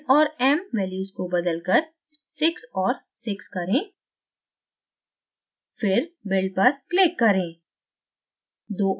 n और m values को बदलकर 6 और 6 करें फिर build पर click करें